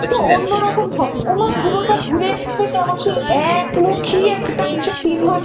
তিন ঘন্টা ওরকম হবে ওমা পুরোটা হ্যাঁ ঘুরে এসে কেমন সেই এক মুখী একটা বিষয়